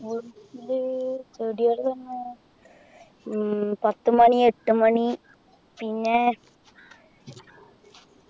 വീട്ടില് ചെടികളു പിന്നെ ഉം പത്തുമണി എട്ടുമണി പിന്നെ